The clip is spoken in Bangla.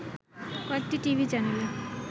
কয়েকটি টিভি চ্যানেলে